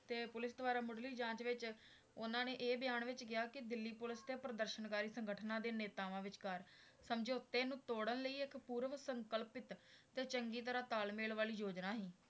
ਤੇ ਪੁਲਿਸ ਦੁਆਰਾ ਮੁੱਢਲੀ ਜਾਂਚ ਵਿੱਚ ਉਹਨਾਂ ਨੇ ਇਹ ਬਿਆਨ ਵਿੱਚ ਕਿਹਾ ਕਿ ਦਿੱਲੀ ਪੁੱਲਿਸ ਤੇ ਪ੍ਰਦਰਸਨਕਾਰੀ ਸੰਗਠਨਾਂ ਦੇ ਨੇਤਾਵਾਂ ਵਿਚਕਾਰ ਸਮਝੌਤੇ ਨੂੰ ਤੋੜਨ ਲਈ ਇੱਕ ਪੂਰਵ ਸੰਕਲਪਿਤ ਤੇ ਚੰਗੀ ਤਰ੍ਹਾਂ ਤਾਲਮੇਲ ਵਾਲੀ ਯੋਜਨਾ ਸੀ,